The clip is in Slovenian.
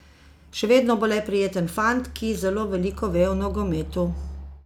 Še vedno bo le prijeten fant, ki zelo veliko ve o nogometu.